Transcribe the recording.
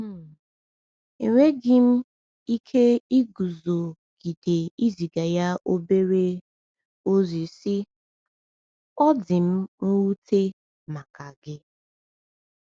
um Enweghị m ike iguzogide iziga ya obere um ozi, sị: “Ọ dị m nwute maka gị.